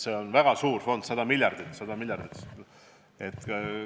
See on väga suur fond, 100 miljardit.